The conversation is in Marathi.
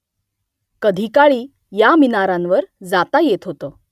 कधी काळी या मिनारांवर जाता येत होतं